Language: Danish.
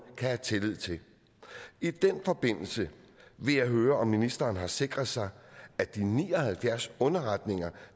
kan have tillid til i den forbindelse vil jeg høre om ministeren har sikret sig at de ni og halvfjerds underretninger